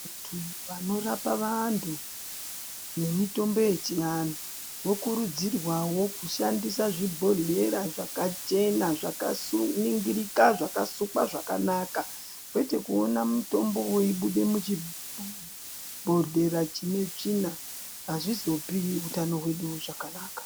Vantu vanorapa vantu nemitombo yechianhu vokurudzirwawo kushandisa zvibhodhlera zvaka chena, zvaningirika, zvakasukwa zvakanaka, kwete kuona mutombo weibude muchibhodhlera chine tsvina, azvizopi utano hwedu zvakanaka.